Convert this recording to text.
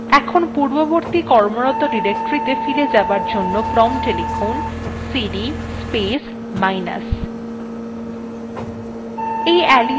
এখন পূর্ববর্তী কর্মরত ডিরেক্টরীতে ফিরে যাবার জন্য prompt এ লিখুন cd space minus